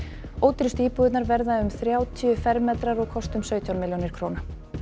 ódýrustu íbúðirnar verða um þrjátíu fermetrar og kosta um sautján milljónir króna